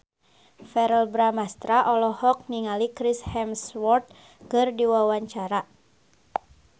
Verrell Bramastra olohok ningali Chris Hemsworth keur diwawancara